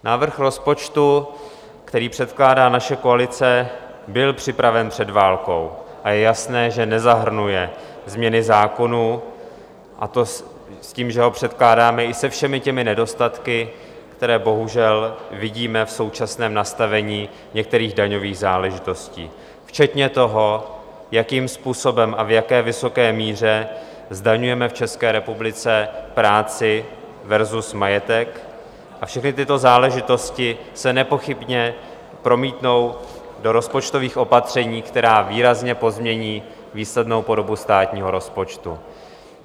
Návrh rozpočtu, který předkládá naše koalice, byl připraven před válkou a je jasné, že nezahrnuje změny zákonů, a to s tím, že ho předkládáme i se všemi těmi nedostatky, které bohužel vidíme v současném nastavení některých daňových záležitostí, včetně toho, jakým způsobem a v jak vysoké míře zdaňujeme v České republice práci versus majetek, a všechny tyto záležitosti se nepochybně promítnou do rozpočtových opatření, která výrazně pozmění výslednou podobu státního rozpočtu.